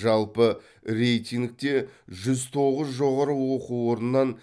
жалпы рейтингте жүз тоғыз жоғары оқу орнынан